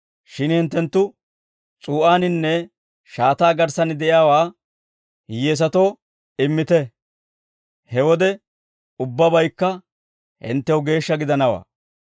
Shin hinttenttu s'uu'aaninne shaataa garssan de'iyaawaa hiyyeesatoo immite; he wode ubbabaykka hinttew geeshsha gidanawaa.